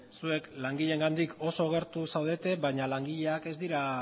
zuek langileengandik oso gertu zaudete baina langileak ez dira